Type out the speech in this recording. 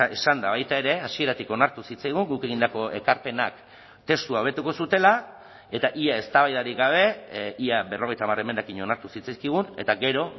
esan da baita ere hasieratik onartu zitzaigun guk egindako ekarpenak testua hobetuko zutela eta ia eztabaidarik gabe ia berrogeita hamar emendakin onartu zitzaizkigun eta gero